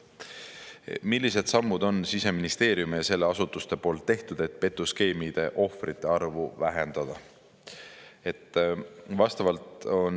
"Millised sammud on Siseministeeriumi ja selle allasutuste poolt tehtud, et petuskeemide ohvrite arvu vähendada?